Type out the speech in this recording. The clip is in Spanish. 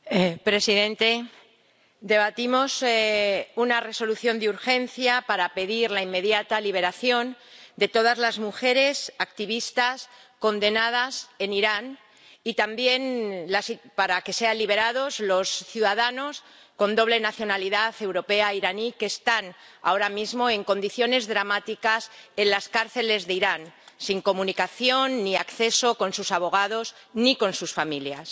Señor presidente, debatimos una Resolución de urgencia para pedir la inmediata liberación de todas las mujeres activistas condenadas en Irán y también para que sean liberados los ciudadanos con doble nacionalidad europea e iraní, que están ahora mismo en condiciones dramáticas en las cárceles de Irán, sin comunicación ni acceso con sus abogados ni con sus familias.